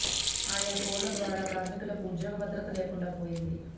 ఆయా కోడ్ల ద్వారా కార్మికులకు ఉద్యోగ భద్రత లేకుండా పోతుంది